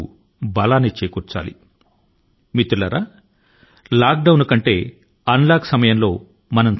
మిత్రులారా unlock కాలం లో మనం లాక్ డౌన్ కాలం తో పోలిస్తే మరింత అప్రమత్తం గా ఉండి తీరాలి